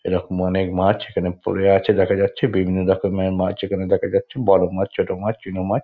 এরকম অনেক মাছ এখানে পরে আছে দেখা যাচ্ছে বিভিন্ন রকমের মাছ এখানে দেখা যাচ্ছে বড় মাছ ছোট মাছ চুনো মাছ--